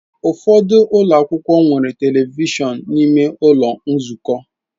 Ụfọdụ ụlọ akwụkwọ nwere telivishọn n'ime ụlọ nzukọ.